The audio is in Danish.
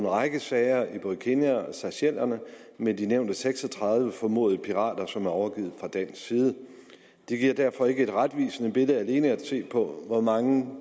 række sager i både kenya og seychellerne med de nævnte seks og tredive formodede pirater som er overgivet fra dansk side det giver derfor ikke et retvisende billede alene at se på hvor mange